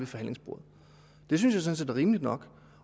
forhandlingsbordet det synes jeg sådan set er rimeligt nok